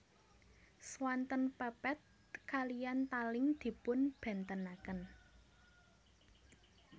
Swanten pepet kaliyan taling dipunbèntenaken